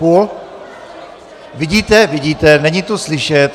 Půl? Vidíte, vidíte, není tu slyšet.